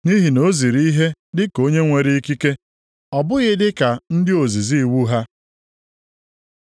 Nʼihi na o ziri ihe dịka onye nwere ikike. Ọ bụghị dị ka ndị ozizi iwu ha.